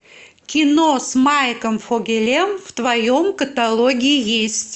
кино с майком фогелем в твоем каталоге есть